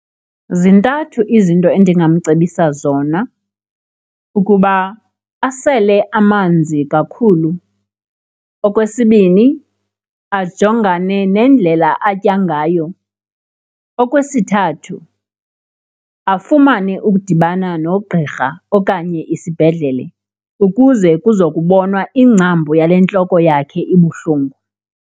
Zintathu izinto endingamcebisa zona, ukuba asele amanzi kakhulu, okwesibini ajongane nendlela atya ngayo, okwesithathu afumane ukudibana nogqirha okanye isibhedlele ukuze kuzokubonwa ingcambu yale ntloko yakhe ibuhlungu.